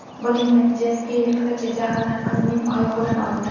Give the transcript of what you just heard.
Buning natijasiga yirtqich jag‘ini qizning oyog‘idan oldi.